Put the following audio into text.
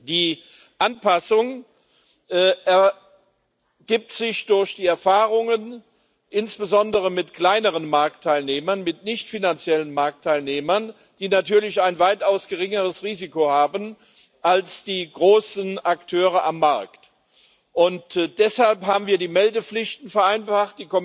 Die Anpassung ergibt sich durch die Erfahrungen insbesondere mit kleineren Marktteilnehmern, mit nichtfinanziellen Marktteilnehmern, die natürlich ein weitaus geringeres Risiko haben als die großen Akteure am Markt, und deshalb haben wir die Meldepflichten vereinfacht.